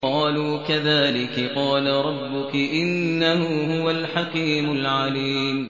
قَالُوا كَذَٰلِكِ قَالَ رَبُّكِ ۖ إِنَّهُ هُوَ الْحَكِيمُ الْعَلِيمُ